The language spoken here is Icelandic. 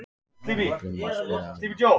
Villimey, spilaðu lag.